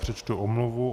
Přečtu omluvu.